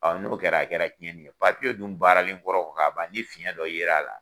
Ɔn n'o kɛra a kɛra tiɲɛni ye. dun baaralen kɔrɔ ka ban nI fiɲɛn dɔ ye la a la